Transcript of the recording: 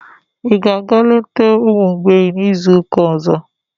Ị ga-aga leta ụmụ mgbei n'izu ụka ọzọ?